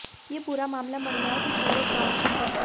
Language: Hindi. ये पूरा मामला मडिय़ांव के पूरब गांव की है